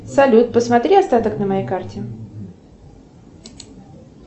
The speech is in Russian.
салют посмотри остаток на моей карте